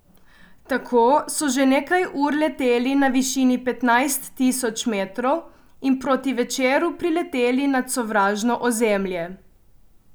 Tako so že nekaj ur leteli na višini petnajst tisoč metrov in proti večeru prileteli nad sovražno ozemlje.